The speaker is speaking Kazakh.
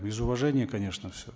из уважения конечно все